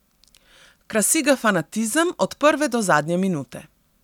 Krasi ga fanatizem od prve do zadnje minute.